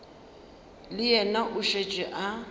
le yena o šetše a